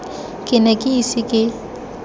ke ne ke ise ke